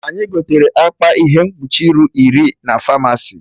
Anyị gotere akpa ihe mkpuchi iru iri na Famasi